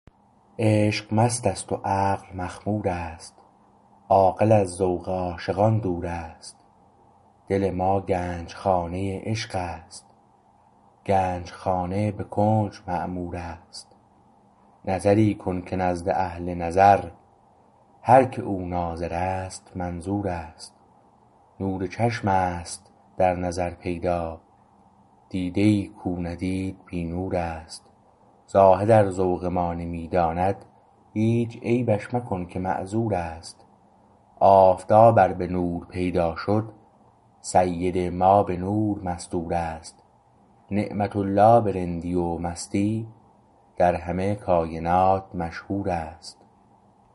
عشق مست است و عقل مخمور است عاقل از ذوق عاشقان دور است دل ما گنجخانه عشق است گنجخانه به کنج معمور است نظری کن که نزد اهل نظر هر که او ناظر است منظور است نور چشم است در نظر پیدا دیده ای کو ندید بی نور است زاهد ار ذوق ما نمی داند هیچ عیبش مکن که معذور است آفتاب ار به نور پیدا شد سید ما به نور مستور است نعمت الله به رندی و مستی در همه کاینات مشهور است